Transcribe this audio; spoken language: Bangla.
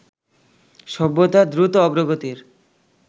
সভ্যতার দ্রুত অগ্রগতির